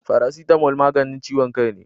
Farasitamo maganin ciwon kai ne